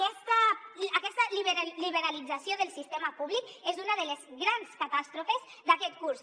aquesta liberalització del sistema públic és una de les grans catàstrofes d’aquest curs